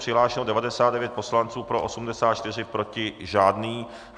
Přihlášeno 99 poslanců, pro 84, proti žádný.